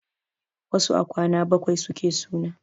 Wasu a kwana bakwai suke suna.